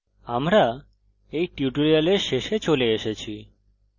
আমরা we tutorial শেষে চলে এসেছি